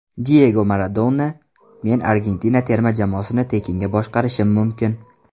Diyego Maradona: Men Argentina terma jamoasini tekinga boshqarishim mumkin.